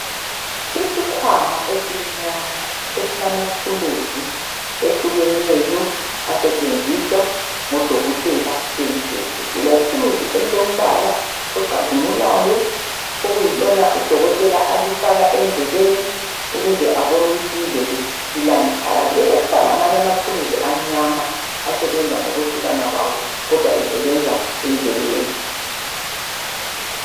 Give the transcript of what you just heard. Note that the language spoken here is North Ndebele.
isikhwama esimnyama esilamathulusi ehlukeneyo asetshenziswa ngodokotela bendlebe kulethuluzi elombala ocazimulayo eliyilona udokotela aliaka endlebeni ukuze abone ukuthi indlebe ilani phakathi kubesekusiba lamanye amathuluzi amnyama asebenza ngokwehlukana kwawo kodwa esebenza endlebeni